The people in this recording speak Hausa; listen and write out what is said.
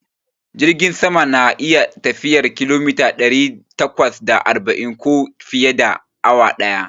Jirgin sama na iya tafiyar kilomita ɗari takwas da arba'in ko fiye, a awa daya